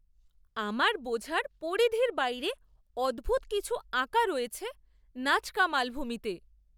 আমার বোঝার পরিধির বাইরে অদ্ভূত কিছু আঁকা রয়েছে নাজকা মালভূমিতে!